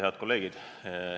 Head kolleegid!